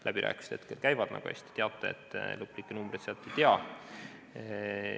Läbirääkimised hetkel käivad, nagu te hästi teate, lõplikke numbreid me veel ei tea.